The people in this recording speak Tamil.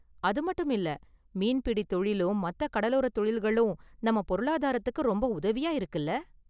அதுமட்டுமில்ல, மீன்பிடி தொழிலும் மத்த கடலோரத் தொழில்களும் நம்ம பொருளாதாரத்துக்கு ரொம்ப உதவியா இருக்குல?